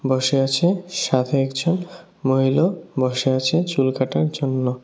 বসে আছে সাথে একজন মহিলাও বসে আছে চুল কাটার জন্য।